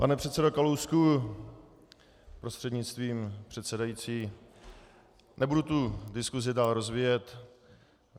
Pane předsedo Kalousku prostřednictvím předsedající, nebudu tu diskusi dál rozvíjet.